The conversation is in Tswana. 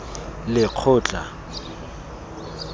lekgotla